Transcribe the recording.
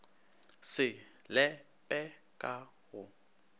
se le pe ka go